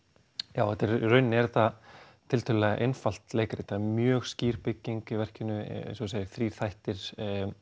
já í rauninni er þetta tiltölulega einfalt leikrit það er mjög skýr bygging í verkinu eins og þú segir þrír þættir